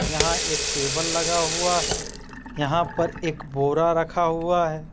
यहां एक टेबल लगा हुआ है यहां पर एक बोरा रखा हुआ है।